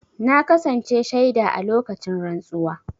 Na kasance shaida a lokacin rantsuwa.